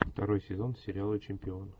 второй сезон сериала чемпион